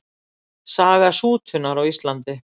Saga sútunar á Íslandi.